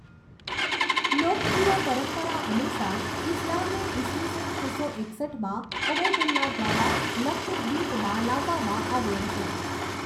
લોકપ્રિય પરંપરા અનુસાર, ઈસ્લામને ઈસવીસન છસો એકસઠમાં ઉબૈદુલ્લા દ્વારા લક્ષદ્વીપમાં લાવવામાં આવ્યો હતો.